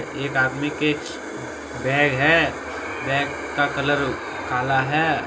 एक आदमी के बैग है। बैग का कलर काला है।